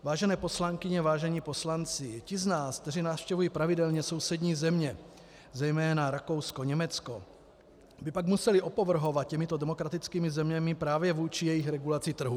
Vážené poslankyně, vážení poslanci, ti z nás, kteří navštěvují pravidelně sousední země, zejména Rakousko, Německo, by pak museli opovrhovat těmito demokratickými zeměmi právě vůči jejich regulaci trhu.